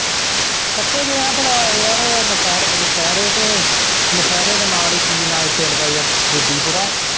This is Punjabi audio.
ਕਿੱਥੇ ਗਏ ਹੀ ਭਲਾ ਯਾਰ ਇਹ ਨਸ਼ਹਿਰੇ ਨਸ਼ਹਿਰੇ ਤੇ ਨਸ਼ਹਿਰੇ ਦੇ ਨਾਲ ਹੀ ਕੀ ਨਾਂ ਏ ਪਿੰਡ ਦਾ ਯਾਰ ਜੱਦੀਪੁਰਾ।